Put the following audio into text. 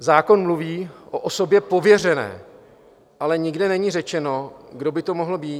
Zákon mluví o osobě pověřené, ale nikde není řečeno, kdo by to mohl být.